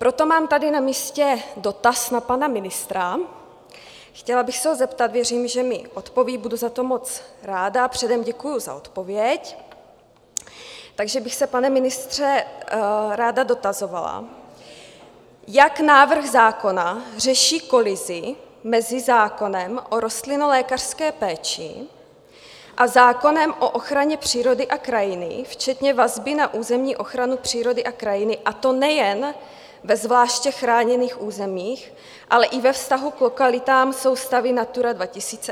Proto mám tady na místě dotaz na pana ministra, chtěla bych se ho zeptat - věřím, že mi odpoví, budu za to moc ráda, předem děkuji za odpověď - takže bych se, pane ministře, ráda dotazovala, jak návrh zákona řeší kolizi mezi zákonem o rostlinolékařské péči a zákonem o ochraně přírody a krajiny včetně vazby na územní ochranu přírody a krajiny, a to nejen ve zvláště chráněných územích, ale i ve vztahu k lokalitám soustavy Natura 2000 a podobně.